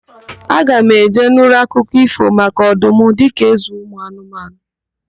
Aga m eje nụrụ akụkọ ífò maka ọdum dịka ézē ụmụanụmanụ.